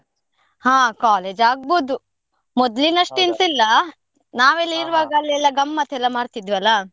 ಹಾ college ಆಗ್ಬಹುದು, ಅಷ್ಟು ಎಂತ ಇಲ್ಲ ಇರುವಾಗ ಅಲ್ಲಿ ಎಲ್ಲ ಗಮ್ಮತ್ ಎಲ್ಲ ಮಾಡ್ತಿದ್ವಿ ಅಲ್ಲ.